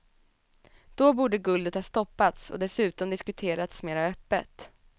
Då borde guldet ha stoppats och dessutom diskuterats mera öppet.